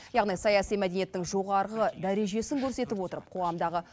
яғни саяси мәдениеттің жоғарғы дәрежесін көрсетіп отырып қоғамдағы